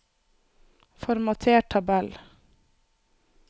Formater tabell